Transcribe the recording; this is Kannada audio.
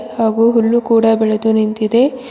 ಹಾಗೂ ಹುಲ್ಲು ಕೂಡ ಬೆಳೆದು ನಿಂತಿದೆ .]